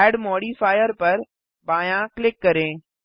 add modifier पर बायाँ click करें